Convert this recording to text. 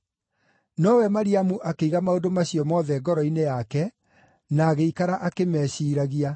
Nowe Mariamu akĩiga maũndũ macio mothe ngoro-inĩ yake, na agĩikara akĩmeciiragia.